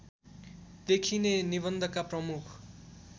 देखिने निबन्धका प्रमुख